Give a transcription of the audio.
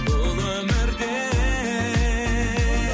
бұл өмірде